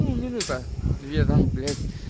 ну минута две там блять